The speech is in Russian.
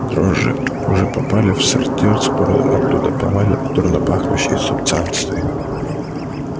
дрожжи уже попали в сортир скоро оттуда повалят дурнопахнущие субстанции